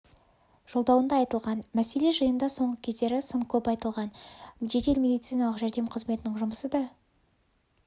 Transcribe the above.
жодауында айтылған мәселе жиында соңғы кездері сын көп айтылған жедел медициналық жәрдем қызметінің жұмысы да